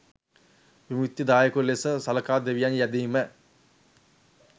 විමුක්තිදායකයකු ලෙස සලකා දෙවියන් යැදීම,